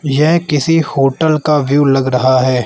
यह किसी होटल का व्यू लग रहा है।